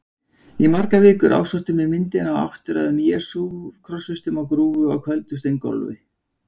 Í margar vikur ásótti mig myndin af áttræðum Jesú krossfestum á grúfu á köldu steingólfi.